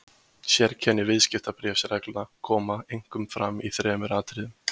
Sérkenni viðskiptabréfsreglna koma einkum fram í þremur atriðum.